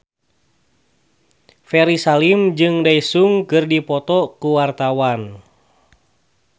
Ferry Salim jeung Daesung keur dipoto ku wartawan